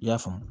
I y'a faamu